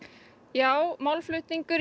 já málflutningur